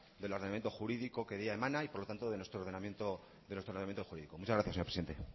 del ordenamiento jurídico que dimana y por tanto de nuestro ordenamiento jurídico muchas gracias señor presidente